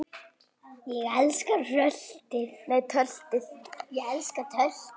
Ég elska töltið.